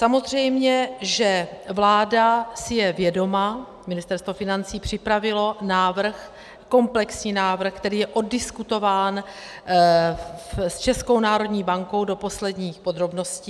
Samozřejmě že vláda si je vědoma, Ministerstvo financí připravilo návrh, komplexní návrh, který je oddiskutován s Českou národní bankou do posledních podrobností.